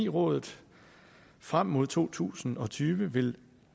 rådet frem mod to tusind og tyve vil